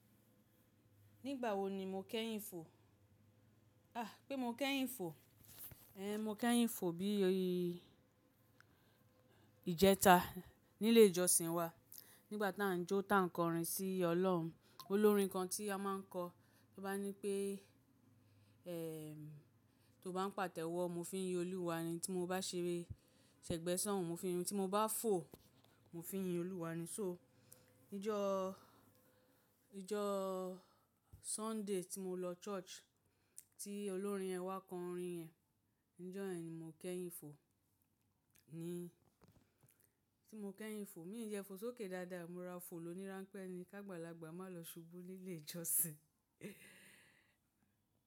Nígbà wo ni mo kẹ́yìn fo? A! Pé mo kẹ́yìn fo. Mo kẹ́yìn fo bí i ìjẹta nílé ìjọsìn wa. Nígbà tá n jó tá n kọrin sí Ọlọ́run, olórin kan tí a máa ń kọ, ó bá ní pé ẹ tó bá n pàtẹ́wọ́, mo fi ń yin Olúwa ni, tí mo bá ṣeré ṣẹ̀gbẹ́soun, mo fi ń yin, tí mo bá fò, mo fi ń yin Olúwa ni. So níjọ́ níjọ́ Sunday tí mo lọ church tí olórin ẹ wa kọ orin ẹ, níjọ́ ẹ ni mo kẹ́yìn fò. Ni tí mo kẹ́yìn fò. Mi ò jẹ fò sókè dáadáa, mo rora fò loníráńpẹ́ ni, kágbàlagbà má lọ ṣubú nílé ìjọsìn.